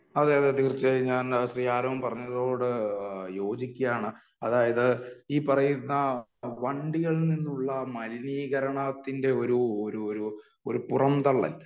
അതേ അതേ തീർച്ചയായും ഞാൻ ശ്രീ ആരോൺ പറഞ്ഞതിനോട് യോജിക്കുകയാണ് . അതായത് ഈ പറയുന്ന വണ്ടികളിൽ നിന്നുള്ള മലിനീകരണത്തിന്റെ ഒരു ഒരു ഒരു പുറംതള്ളൽ